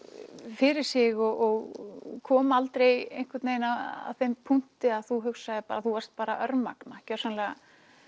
fyrir sig og kom aldrei einhvern veginn að þeim punkti að þú þú varst örmagna gjörsamlega